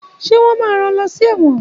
Ṣé wọ́n máa rán wọ́n lọ́ sí ẹ̀wọ̀n?